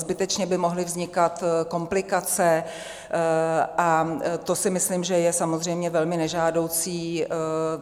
Zbytečně by mohly vznikat komplikace a to si myslím, že je samozřejmě velmi nežádoucí.